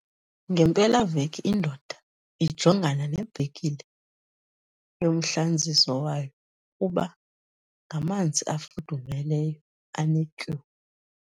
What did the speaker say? Ngempelaveki indoda ijongana nebhekile yomhlanziso wayo nokuba ngamanzi afudumeleyo anetyuwa.